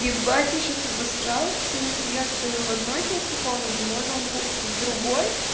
ибать я сейчас обосралась потому что я стою в одной части комнаты мой ноутбук в другой